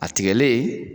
A tigɛlen